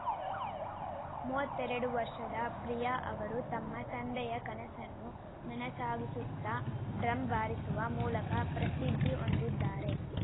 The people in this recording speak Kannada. ಮೂವತ್ತೆರಡು ವರ್ಷದ ಪ್ರಿಯಾ ಅವರು ತಮ್ಮ ತಂದೆಯ ಕನಸನ್ನು ನನಸಾಗಿಸುತ್ತಾ ಡ್ರಮ್‌ ಬಾರಿಸುವ ಮೂಲಕ ಪ್ರಸಿದ್ಧಿ ಹೊಂದಿದ್ದಾರೆ